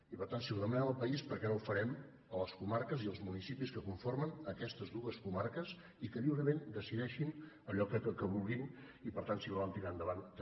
i per tant si ho demanem al país per què no ho farem a les comarques i als municipis que conformen aquestes dues comarques i que lliurement decideixin allò que vulguin i per tant si ho volen tirar endavant també